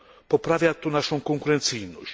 Poprawia to naszą konkurencyjność.